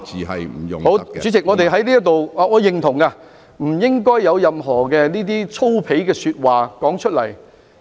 好，主席，我是認同的，不應該說出任何粗鄙的說話。